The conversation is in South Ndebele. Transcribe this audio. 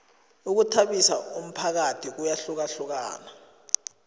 ukhuthabisa umphakathi kuyahlukahlukana